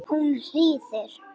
Hún hlýðir.